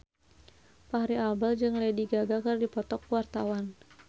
Fachri Albar jeung Lady Gaga keur dipoto ku wartawan